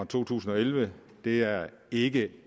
to tusind og elleve det er ikke